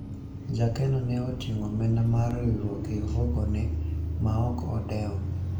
jakeno ne oting'o omenda mar riwruok e ofuku ne ma ok odewo